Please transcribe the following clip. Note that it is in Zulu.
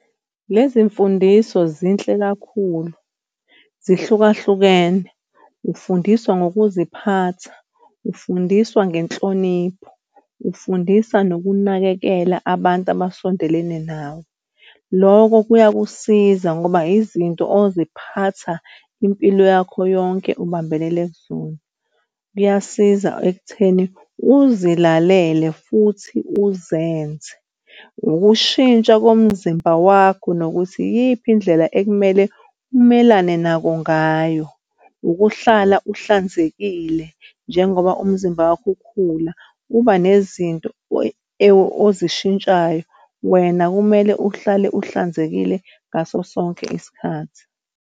Lezi mfundiso zinhle kakhulu zihlukahlukene ufundiswa ngokuziphatha, ufundiswa ngenhlonipho, ufundisa nokunakekela abantu abasondelene nawe. Loko kuyakusiza ngoba izinto oziphatha impilo yakho yonke ubambelele kuzona. Kuyasiza ekutheni uzilalele futhi uzenze. Ukushintsha komzimba wakho nokuthi iyiphi indlela ekumele umelane nako ngayo. Ukuhlala uhlanzekile, njengoba umzimba wakho ukhula, kuba nezinto ozishintshayo. Wena kumele uhlale uhlanzekile ngaso sonke isikhathi.